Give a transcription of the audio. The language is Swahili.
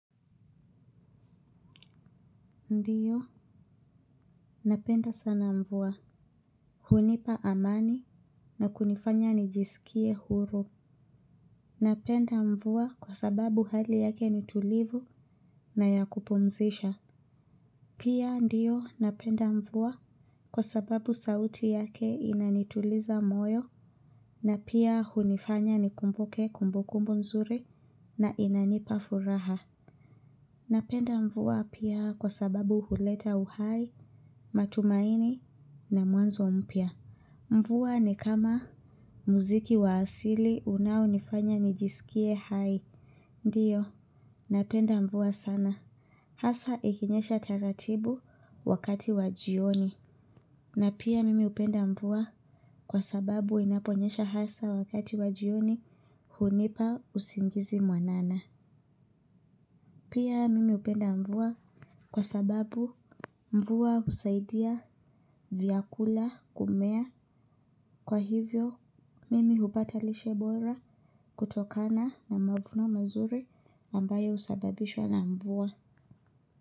Ndiyo, napenda sana mvua. Hunipa amani na kunifanya nijisikie huru. Napenda mvua kwa sababu hali yake ni tulivu na ya kupumzisha. Pia, ndiyo, napenda mvua kwa sababu sauti yake inanituliza moyo. Na pia, hunifanya nikumbuke kumbukumbu nzuri na inanipa furaha. Napenda mvua pia kwa sababu huleta uhai, matumaini na mwanzo mpya. Mvua ni kama muziki wa asili unaonifanya nijisikie hai. Ndiyo, napenda mvuwa sana. Hasa ikinyesha taratibu wakati wa jioni. Na pia mimi hupenda mvua kwa sababu inaponyesha hasa wakati wa jioni hunipa usingizi mwanana. Pia mimi hupenda mvua kwa sababu mvua husaidia vyakula kumea. Kwa hivyo, mimi hupata lishe bora kutokana na mavuno mazuri ambayo husababishwa na mvua.